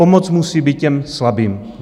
Pomoc musí být těm slabým.